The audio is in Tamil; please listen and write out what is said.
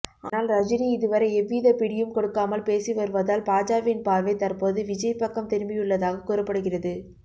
ஆனால் ரஜினி இதுவரை எவ்வித பிடியும் கொடுக்காமல் பேசி வருவதால் பாஜவின் பார்வை தற்போது விஜய் பக்கம் திரும்பியுள்ளதாக கூறப்படுகிறது